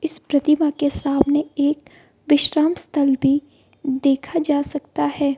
इस प्रतिमा के सामने एक विश्राम स्थल भी देखा जा सकता है।